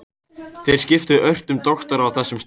Þeir skiptu ört um doktora á þessum stað.